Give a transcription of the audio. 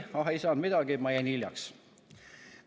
Vastus oli: "Ah, ei saanud midagi, ma jäin hiljaks.